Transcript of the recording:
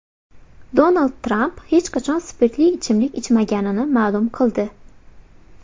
Donald Tramp hech qachon spirtli ichimlik ichmaganini ma’lum qildi.